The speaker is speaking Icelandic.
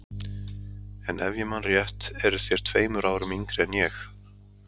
En ef ég man rétt eruð þér tveimur árum yngri en ég.